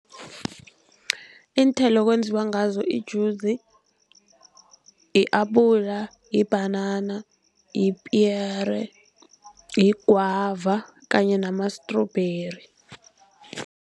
Iinthelo okwenziwa ngazo ijuzi li-apula, libhanana, lipiyere, ligwava kanye nama-strawberry.